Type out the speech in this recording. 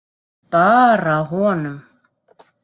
Bara honum.